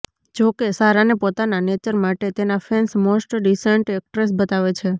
જો કે સારાને પોતાના નેચર માટે તેના ફેન્સ મોસ્ટ ડિસેન્ટ એક્ટ્રેસ બતાવે છે